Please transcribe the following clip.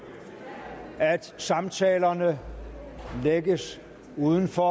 at samtalerne lægges uden for